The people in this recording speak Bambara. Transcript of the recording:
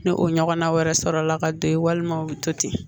Ni o ɲɔgɔnna wɛrɛ sɔrɔ la ka to yen walima o bɛ to ten